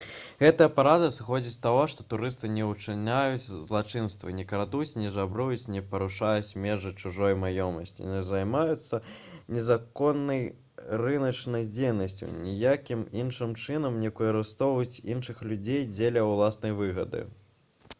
гэтая парада сыходзіць з таго што турысты не ўчыняюць злачынствы не крадуць не жабруюць не парушаюць межы чужой маёмасці не займаюцца незаконнай рыначнай дзейнасцю і ніякім іншым чынам не выкарыстоўваюць іншых людзей дзеля ўласнай выгады